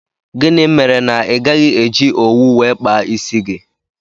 Gịnị mere na igaghi eji owu wee kpaa isi gị?